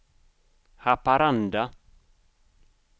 Haparanda